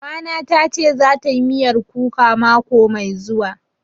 Mama na ta ce za ta yi miyar kuka mako mai zuwa